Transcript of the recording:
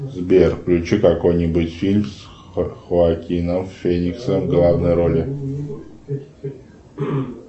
сбер включи какой нибудь фильм с хоакином фениксом в главной роли